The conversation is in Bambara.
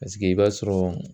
Paseke i b'a sɔrɔ